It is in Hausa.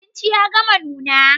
Abinci ya gama nuna.